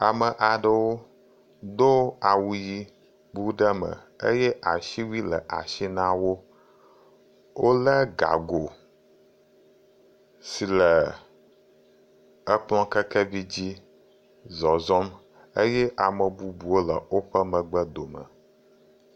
Ame do awu ʋi bu ɖe eme eye asi wuie le asi na wo. Wo le gago si le ekplɔ kɛkɛvi dzi zɔzɔm eye ame bubu wo le woƒe megeb dome.